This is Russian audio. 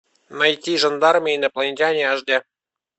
найти жандармы и инопланетяне аш д